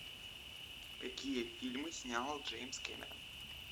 какие фильмы снял джеймс кэмерон